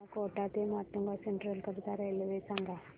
मला कोटा ते माटुंगा सेंट्रल करीता रेल्वे सांगा